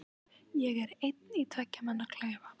Ég er einn í tveggja manna klefa.